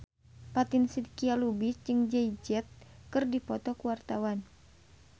Fatin Shidqia Lubis jeung Jay Z keur dipoto ku wartawan